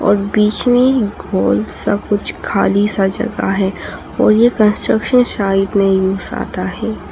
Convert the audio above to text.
और बीच में गोल सा कुछ खाली सा जगह है और ये कंस्ट्रक्शन साइट में यूज आता है।